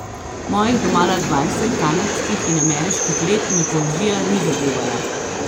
Mojih domala dvajset kanadskih in ameriških let me poezija ni zadevala.